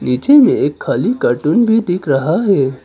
नीचे में एक खाली कार्टून भी दिख रहा है।